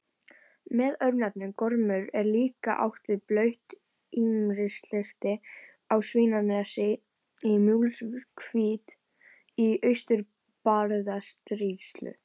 Með örnefninu Gormur er líklega átt við blautt mýrarstykki á Svínanesi í Múlasveit í Austur-Barðastrandarsýslu.